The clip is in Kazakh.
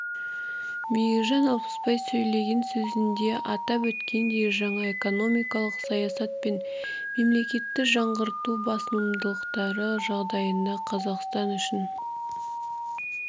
мейіржан алпысбай сөйлеген сөзінде атап өткендей жаңа экономикалық саясат пен мемлекетті жаңғырту басымдықтары жағдайында қазақстан үшін